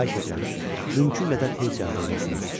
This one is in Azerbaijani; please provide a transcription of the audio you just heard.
Xahiş edirəm, mümkün qədər tez cavab yazasınız.